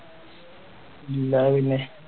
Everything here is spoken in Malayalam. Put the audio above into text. ഇല്ലാ പിന്നെ